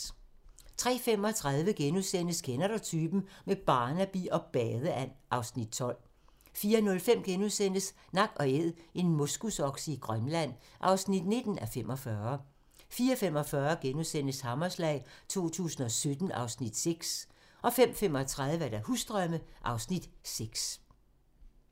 03:35: Kender du typen? - med Barnaby og badeand (Afs. 12)* 04:05: Nak & Æd - en moskusokse i Grønland (19:45)* 04:45: Hammerslag 2017 (Afs. 6)* 05:35: Husdrømme (Afs. 6)